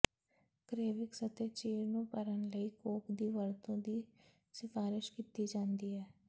ਕ੍ਰੇਵਿਕਸ ਅਤੇ ਚੀਰ ਨੂੰ ਭਰਨ ਲਈ ਕੌਕ ਦੀ ਵਰਤੋਂ ਦੀ ਸਿਫਾਰਸ਼ ਕੀਤੀ ਜਾਂਦੀ ਹੈ